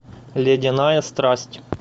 ледяная страсть